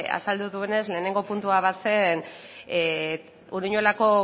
azaldu duenez lehenengo puntua bazen uruñuelako